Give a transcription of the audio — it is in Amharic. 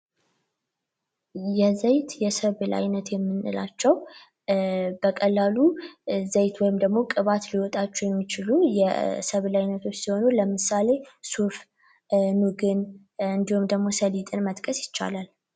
የዘይት ሰብል አይነት የምንላቸው በቀላሉ ዘይት ወይም ቅባት ሊወጣቸው የሚችሉ ይህ የሰብል ዓይነቶች ሲሆኑ ለምሳሌ ሱፍ ኑግ ወይም ደግሞ ሰሊጥን መጥቀስ ይቻላል።